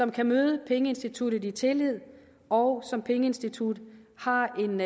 kan møde pengeinstituttet i tillid og så pengeinstituttet har en